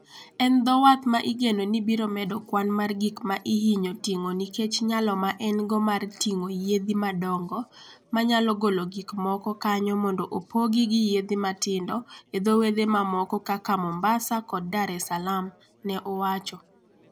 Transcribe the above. En dho wath ma igeno ni biro medo kwan mar gik ma ihinyo ting'o nikech nyalo ma en go mar ting'o yiedhi madongo ma nyalo golo gik moko kanyo mondo opoggi gi yiedhi matindo e dho wedhe mamoko kaka Mombasa kod Dar-es-Salaam, ne owacho.